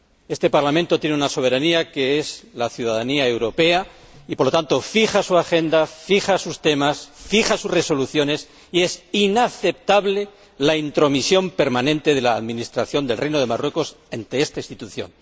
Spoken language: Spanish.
Este Parlamento tiene una soberanía que se basa en la ciudadanía europea y, por lo tanto, fija su orden del día, fija sus temas, fija sus resoluciones y es inaceptable la intromisión permanente de la administración del Reino de Marruecos ante esta Institución